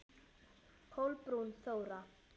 Kolbrún Þóra.